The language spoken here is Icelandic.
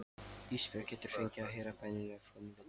Ísbjörg getur fengið að heyra bænina ef hún vill.